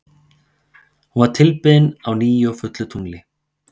Hún var tilbeðin á nýju og fullu tungli.